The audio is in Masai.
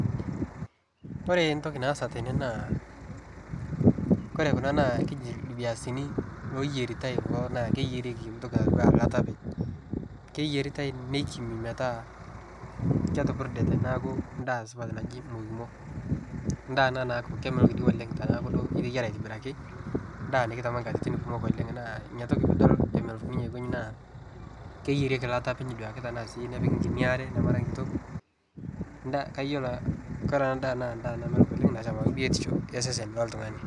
Kore entoki naasa tene naa ore kuna naa ipiasini looyieritae kulo naa keyierieki ntoki natii enaa eilata openy. Keyieritae neikimi nepurda metaa ndaa supat naji mokimo. Ndaa ena naaku kemelok oleng teneeku iteyiera aitobiraki, ndaa nikitama nkatitin kumok naa ina pee keyierieki eilata openy nepiki nkuti are mepiki nkare kitok ,Kore ndaa naa ndaa namelok oleng nasham biotisho oltungani.